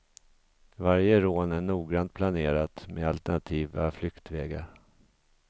Varje rån är noggrant planerat med alternativa flyktvägar.